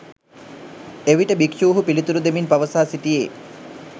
එවිට භික්‍ෂූහු පිළිතුරු දෙමින් පවසා සිටියේ